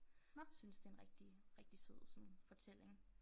Synes det en rigtig rigtig sød sådan fortælling